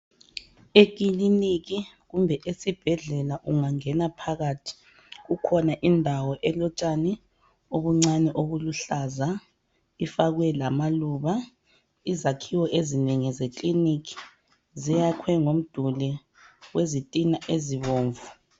Ekiliniki kumbe esibhedlela ungangena phakathi kukhona indawo elotshani obuncane obuluhlaza ifakwe ngamaluba. Izakhiwo ezinengi ekiliniki ziyakhwe ngomduli wezitina ezibomvu.